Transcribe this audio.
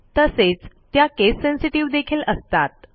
तसेच त्या केस सेन्सिटिव्ह देखील असतात